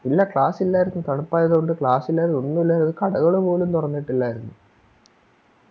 ഇല്ല Class ഇല്ലാരുന്നു തണുപ്പായത് കൊണ്ട് Class ഇല്ലാരുന്നു ഒന്നുല്ലാരുന്നു കടകള് പോലും തൊറന്നിട്ടില്ലാരുന്നു